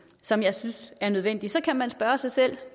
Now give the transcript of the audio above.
som jeg synes er nødvendig så kan man spørge sig selv